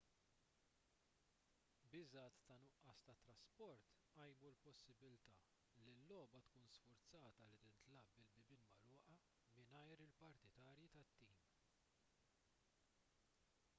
biżgħat ta' nuqqas ta' trasport qajmu l-possibbiltà li l-logħba tkun sfurzata li tintlagħab bil-bibien magħluqin mingħajr il-partitarji tat-tim